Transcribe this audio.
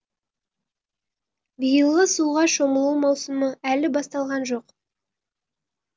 биылғы суға шомылу маусымы әлі басталған жоқ